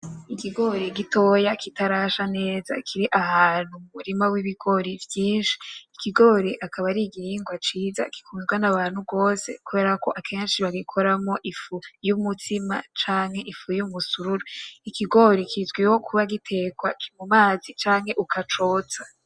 Ikigori gitoya kitarasha neza kiri ahantu mu murima w'ibigori vyinshi, ikigori akaba ari igihingwa ciza gikundwa n'abantu gose kubera ko akenshi bagikoramwo ifu y'umutsima canke ifu y'umusururu ikigori kizwiho kuba gitekwa mu mazi canke ukacotsa.